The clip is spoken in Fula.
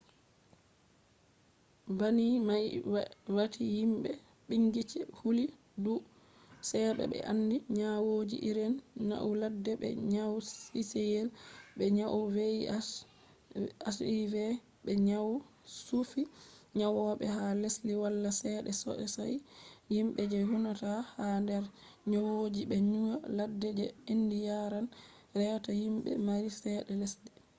banni mai wati himbe bincike houlli dou cewa be andi nyawoji irin nyau ladde be nyau ciciyel be nyau hiv be nyau chuffi nyawobe ha lesdiji wala cede sosai himbe je huinata ha der nyowoji je nyau ladde je endi yaran reta himbe mari cede lesde